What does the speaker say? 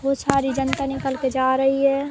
यह सारी जनता निकल के जा रही है।